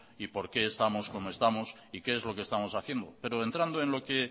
y por qué estamos como estamos y qué es lo que estamos haciendo pero entrando en lo que